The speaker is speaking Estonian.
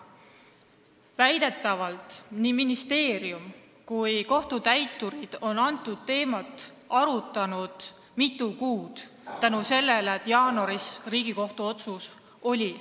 Väidetavalt on nii ministeerium kui ka kohtutäiturid seda teemat arutanud mitu kuud, kuna jaanuaris tuli Riigikohtu asjakohane otsus.